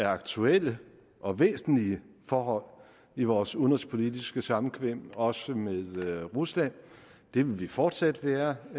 aktuelle og væsentlige forhold i vores udenrigspolitiske samkvem også med rusland det vil vi fortsat være